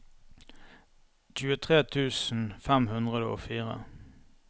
tjuetre tusen fem hundre og fire